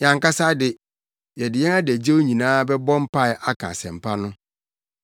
Yɛn ankasa de, yɛde yɛn adagyew nyinaa bɛbɔ mpae aka Asɛmpa no.”